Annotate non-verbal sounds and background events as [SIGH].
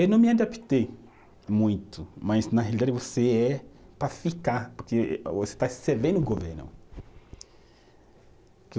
Eu não me adaptei muito, mas na realidade você é para ficar, porque você está servindo o governo. [UNINTELLIGIBLE]